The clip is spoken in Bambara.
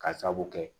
Ka sababu kɛ